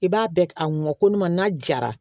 I b'a bɛɛ a ŋɔni ma n'a jara